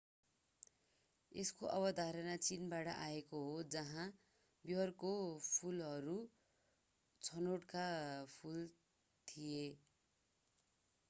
यसको अवधारणा चीनबाट आएको हो जहाँ बयरका फूलहरू छनोटका फूल थिए